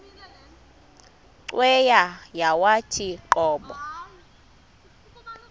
cweya yawathi qobo